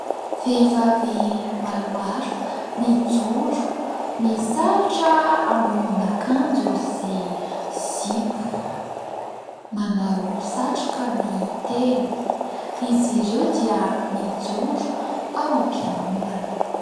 Vehivavy maromaro mijoro, misalotra ambonin'akanjo sy zipo ; manao satroka ny telo, izy ireo dia mijoro ao am-piangonana.